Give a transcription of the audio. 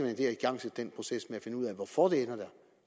at have igangsat den proces med at finde ud af hvorfor de ender der